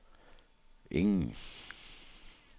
ingen